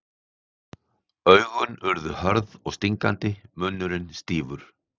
Augun urðu hörð og stingandi, munnurinn stífur.